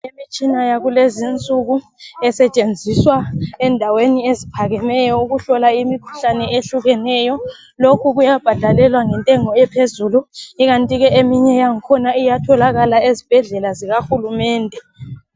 Imitshina yakulezi insuku esetshenziswa endaweni eziphakemeyo ukuhlola imikhuhlane ehlukeneyo lokhu kuyabhadalelwa ngentengo ephezulu ikanti ke eminye yakhona iyatholakala ezibhedlela zikahulumende.